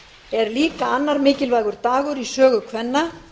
er líka annar mikilvægur dagur í sögu kvenna